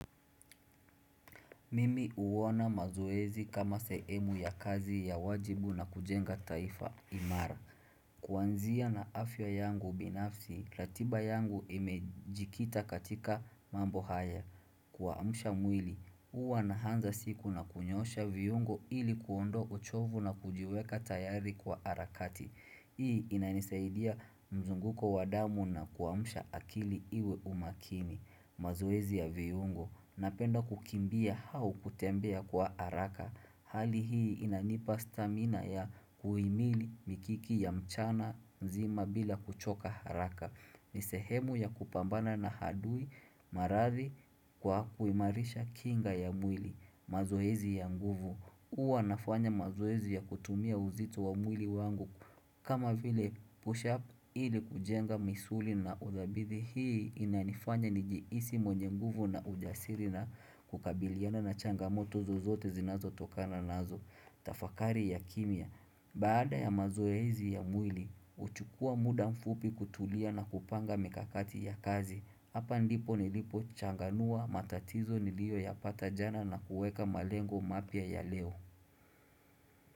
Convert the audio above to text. Mimi huona mazoezi kama sehemu ya kazi ya wajibu na kujenga taifa imara. Kwanzia na afya yangu binafsi, ratiba yangu imejikita katika mambo haya. Kuamsha mwili, huwa naanza siku na kunyosha viyungo ili kuondo uchovu na kujiweka tayari kwa harakati. Hii inanisaidia mzunguko wa damu na kuamsha akili iwe makini. Mazoezi ya viungo, napenda kukimbia au kutembea kwa haraka Hali hii inanipa stamina ya kuimili mikiki ya mchana nzima bila kuchoka haraka nisehemu ya kupambana na hadui maradhi kwa kuimarisha kinga ya mwili mazoezi ya nguvu, huwa nafanya mazoezi ya kutumia uzito wa mwili wangu kama vile push-up ili kujenga misuli na hii inanifanya nijiisi monyenguvu na ujasiri na kukabiliana na changamoto zo zote zinazo tokana nazo. Tafakari ya kimya, baada ya mazoezi ya mwili, uchukua muda mfupi kutulia na kupanga mikakati ya kazi. Hapa ndipo nilipo changanua matatizo nilio ya patajana na kuweka malengo mapya ya leo.